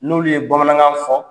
N'olu de ye Bamanankan fɔ.